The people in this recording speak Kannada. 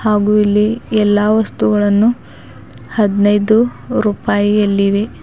ಹಾಗು ಇಲ್ಲಿ ಎಲ್ಲಾ ವಸ್ತುಗಳನ್ನು ಹದನೈದು ರುಪಾಯಿಯಲ್ಲಿವೆ.